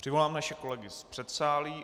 Přivolám naše kolegy z předsálí.